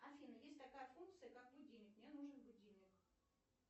афина есть такая функция как будильник мне нужен будильник